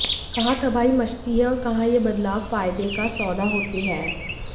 कहां तबाही मचती है और कहां ये बदलाव फायदे का सौदा होते हैं